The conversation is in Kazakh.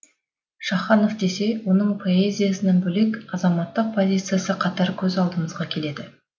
шаханов десе оның поэзиясынан бөлек азаматтық позициясы қатар көз алдымызға келеді